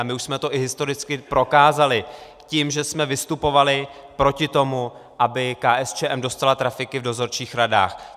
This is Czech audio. A my už jsme to i historicky prokázali tím, že jsme vystupovali proti tomu, aby KSČM dostala trafiky v dozorčích radách.